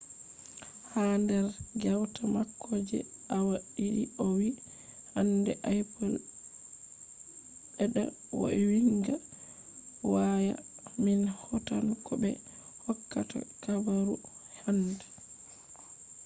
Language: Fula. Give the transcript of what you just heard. ha der gewta mako je awa didi o vi hande apple bedda vo’inga waya min hautan ko be hokkata habaru hande